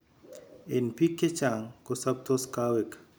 En biik chechang ko sobtos kaweg